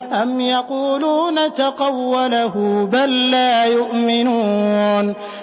أَمْ يَقُولُونَ تَقَوَّلَهُ ۚ بَل لَّا يُؤْمِنُونَ